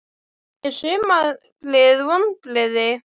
Er sumarið vonbrigði?